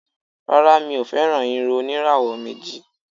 Rárá, mi ò fẹ́ràn irun oníràwọ̀ méjì.